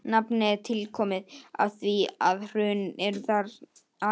Nafnið er tilkomið af því að hrun eru þar algeng.